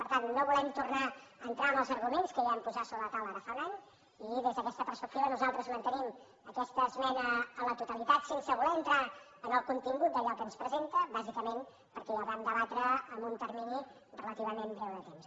per tant no volem tornar a entrar en els arguments que ja vam posar sobre la taula ara ja fa un any i des d’aquesta perspectiva nosaltres mantenim aquesta esmena a la totalitat sense voler entrar en el contingut d’allò que ens presenta bàsicament perquè ja ho vam debatre en un termini relativament breu de temps